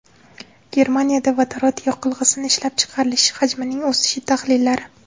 Germaniyada vodorod yoqilg‘isi ishlab chiqarilishi hajmining o‘sishi tahlillari.